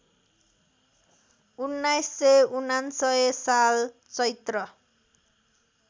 १९९९ साल चैत्र